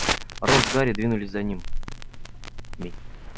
рон с гарри двинулись за ним